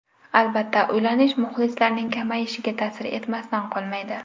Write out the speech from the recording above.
Albatta, uylanish muxlislarning kamayishiga ta’sir etmasdan qolmaydi.